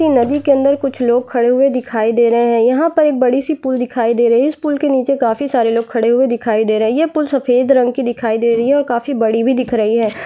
नदी के अंदर कुछ लोग खड़े हुए दिखाई दे रहे हैं यहाँ पर एक बड़ी सी पूल दिखाई दे रही हैं इस पूल के नीचे काफी सारे लोग खड़े हुए दिखाई दे रहे हैं ये पूल सफेद रंग की दिखाई दे रही हैं और काफी बड़ी भी दिखाई दे रही हैं।